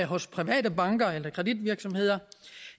hos private banker eller kreditvirksomheder